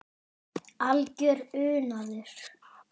Algjör unaður.